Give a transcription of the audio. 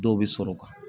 Dɔw bɛ sɔrɔ o kan